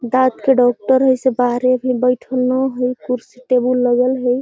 दात के डाक्टर हई से बाहरे बईठल न हई कुर्सी टेबल लगल हई |